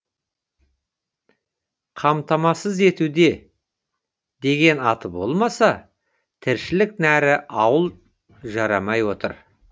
қамтасасыз етуде деген аты болмаса тіршілік нәрі ауыл жарымай отыр